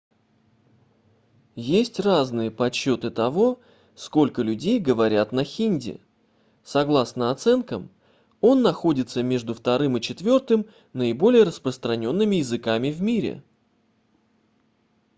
есть разные подсчёты того сколько людей говорят на хинди согласно оценкам он находится между вторым и четвёртым наиболее распространёнными языками в мире